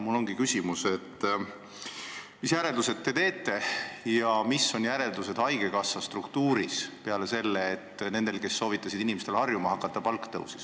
Mul ongi küsimus, mis järeldused te teete haigekassa struktuuris peale selle, et nendel, kes soovitasid inimestel harjuma hakata, palk tõusis.